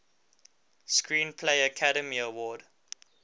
screenplay academy award